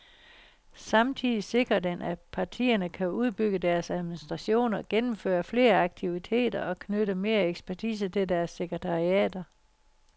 Samtidig sikrer den, at partierne kan udbygge deres administrationer, gennemføre flere aktiviteter og knytte mere ekspertise til deres sekretariater.